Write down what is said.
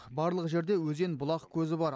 барлық жерде өзен бұлақ көзі бар